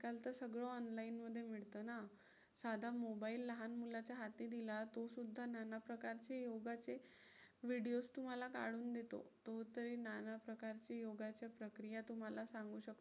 काल तर सगळं online मध्ये मिळतं ना. साधं mobile लहान मुलाच्या हाती दिला तो सुद्धा नाना प्रकारचे योगाचे videos तुम्हाला काढून देतो. तो तरी नाना प्रकारचे योगाच्या प्रक्रिया तुम्हाला सांगू शकतो.